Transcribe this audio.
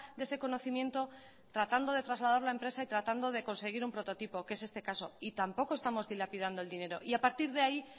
de ese conocimiento tratando de trasladar la empresa y tratando de conseguir un prototipo que es este caso y tampoco estamos dilapidando el dinero y a partir de ahí